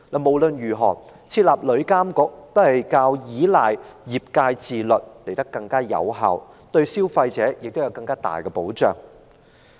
無論如何，設立旅監局總比依賴業界自律更為有效，對消費者也有較完善的保障。